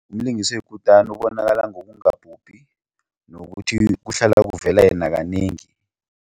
Umlingisi oyikutani ubonakala ngokungabhubhi nokuthi kuhlala kuvela yena kanengi.